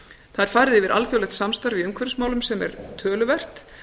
það er farið yfir alþjóðlegt samstarf í umhverfismálum sem er töluvert